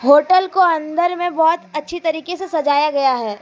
Hotel को अंदर में बहोत अच्छी तरीके से सजाया गया है।